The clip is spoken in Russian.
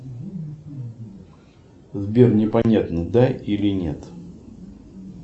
сбер не понятно да или нет